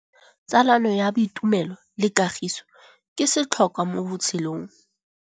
Tsalano ya boitumelo le kagiso ke setlhôkwa mo botshelong.